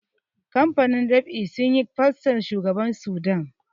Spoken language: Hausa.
kamfanin ɗab'i sun yi fostar shugaban Sudan